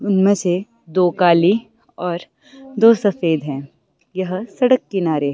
उनमें से दो काली और दो सफेद है। यह सड़क किनारे--